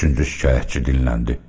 Üçüncü şikayətçi dilləndi.